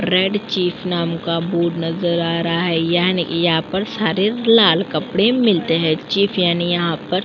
Red chief नाम का board नजर आ रहा है यानी यहाँ पर सारे लाल कपड़े मिलते हैं। चीफ यानि यहाँ पर --